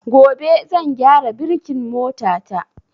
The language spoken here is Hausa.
Gobe zan gyara birkin mota ta